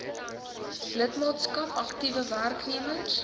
lidmaatskap aktiewe werknemers